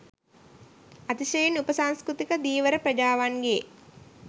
අතිශයින් උප සංස්කෘතික ධීවර ප්‍රජාවන්ගේ